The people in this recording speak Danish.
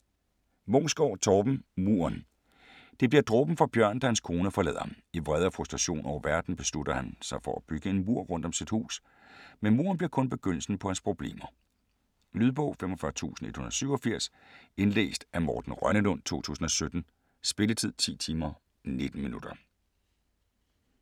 Munksgaard, Torben: Muren Det bliver dråben for Bjørn da hans kone forlader ham. I vrede og frustration over verden beslutter han sig for at bygge en mur rundt om sit hus. Men muren bliver kun begyndelsen på hans problemer. Lydbog 45187 Indlæst af Morten Rønnelund, 2017. Spilletid: 10 timer, 19 minutter.